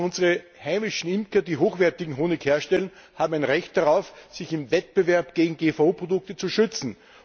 Unsere heimischen Imker, die hochwertigen Honig herstellen, haben ein Recht darauf, sich im Wettbewerb gegen GVO Produkte zu schützen.